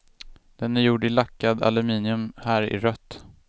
Den är gjord i lackad aluminium, här i rött.